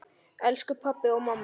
Elsku pabbi og mamma.